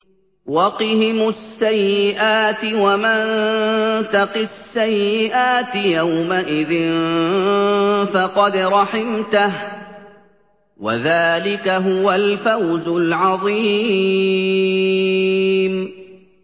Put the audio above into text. وَقِهِمُ السَّيِّئَاتِ ۚ وَمَن تَقِ السَّيِّئَاتِ يَوْمَئِذٍ فَقَدْ رَحِمْتَهُ ۚ وَذَٰلِكَ هُوَ الْفَوْزُ الْعَظِيمُ